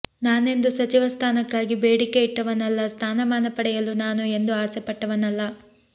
ನಾನೆಂದು ಸಚಿವ ಸ್ಥಾನಕ್ಕಾಗಿ ಬೇಡಿಕೆ ಇಟ್ಟವನಲ್ಲ ಸ್ಥಾನಮಾನ ಪಡೆಯಲು ನಾನು ಎಂದೂ ಆಸೆಪಟ್ಟವನಲ್ಲ